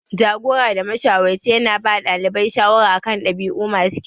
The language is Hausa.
Jagora da mashawarci ya na ba ɗalibai shawara a kan ɗabi'u masu kyau